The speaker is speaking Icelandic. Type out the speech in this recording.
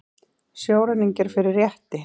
Sjóræningjar fyrir rétti